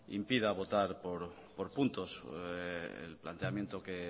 impida votar por puntos el planteamiento que